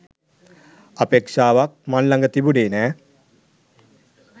අපේක්‍ෂාවක් මං ළඟ තිබුණේ නෑ.